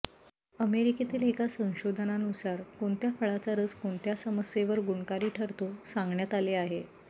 अमेरिकेतील एका संशोधनानुसार कोणत्या फळाचा रस कोणत्या समस्येवर गुणकारी ठरतो सांगण्यात आले आहे